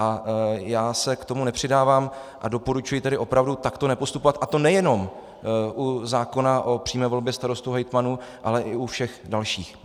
A já se k tomu nepřidávám a doporučuji tedy opravdu takto nepostupovat, a to nejenom u zákona o přímé volbě starostů, hejtmanů, ale i u všech dalších.